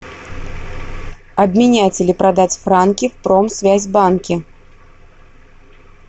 обменять или продать франки в промсвязьбанке